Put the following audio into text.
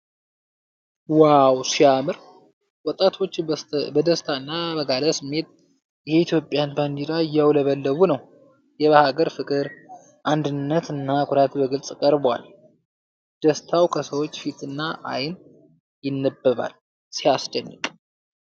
ዋው ሲያምር! ወጣቶች በደስታና በጋለ ስሜት የኢትዮጵያን ባንዲራ እያውለበለቡ ነው ። የሀገር ፍቅር ፣ አንድነትና ኩራት በግልፅ ቀርቧል ። ደስታው ከሰዎች ፊትና አይን ይነበባል። ሲያስደንቅ!